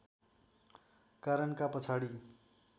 कारणका पछाडि